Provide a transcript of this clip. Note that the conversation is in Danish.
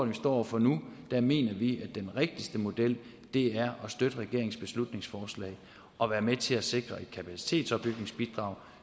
vi står over for nu mener vi at den rigtigste model er at støtte regeringens beslutningsforslag og være med til at sikre et kapacitetsopbygningsbidrag